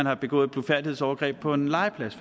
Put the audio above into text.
har begået et blufærdighedsovergreb på en legeplads